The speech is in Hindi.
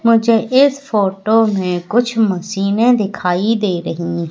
मुझे इस फोटो में कुछ मशीनें दिखाई दे रही--